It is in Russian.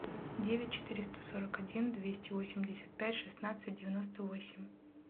девять четыреста сорок один двести восемьдесят пять шестнадцать девяносто восемь